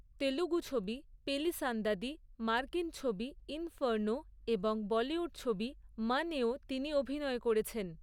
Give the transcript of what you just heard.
তেলুগু ছবি, পেলি সান্দাদি, মার্কিন ছবি, ইনফার্নো এবং বলিউড ছবি, মন এও তিনি অভিনয় করেছেন।